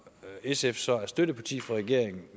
sf så er støtteparti for regeringen